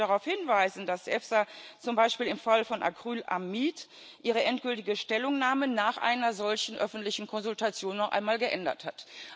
Ich möchte darauf hinweisen, dass die EFSA zum Beispiel im Fall von Acrylamid ihre endgültige Stellungnahme nach einer solchen öffentlichen Konsultation noch einmal geändert hat.